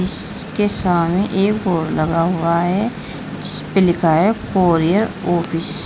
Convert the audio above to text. इसके सामने एक बोर्ड लगा हुआ हैं जिसपे लिखा हुआ हैं कोरियर ऑफिस ।